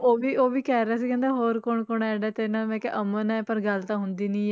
ਉਹ ਵੀ ਉਹ ਵੀ ਕਹਿ ਰਿਹਾ ਸੀ ਕਹਿੰਦਾ ਹੋਰ ਕੌਣ ਕੌਣ ਆ ਜਾਂਦਾ ਤੇਰੇ ਨਾਲ, ਮੈਂ ਕਿਹਾ ਅਮਨ ਹੈ ਪਰ ਗੱਲ ਤਾਂ ਹੁੰਦੀ ਨੀ